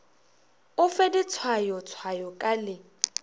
o fe ditshwayotshwayo ka le